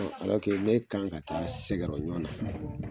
Ne kan ka taa Sɛgɛrɔ ɲɔn na